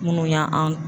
Minnu y'an